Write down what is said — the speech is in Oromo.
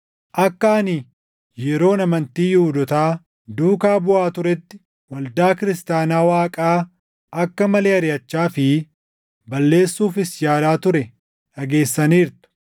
Akka ani yeroon amantii Yihuudootaa duukaa buʼaa turetti waldaa kiristaanaa Waaqaa akka malee ariʼachaa fi balleessuufis yaalaa ture dhageessaniirtu.